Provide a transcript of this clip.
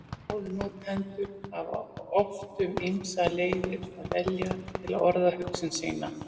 Málnotendur hafa oft um ýmsar leiðir að velja til að orða hugsun sína.